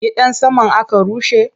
Gidan saman aka rushe?